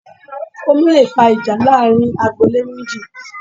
Omi leè fa ìjà láàrin agbo-ilé méjì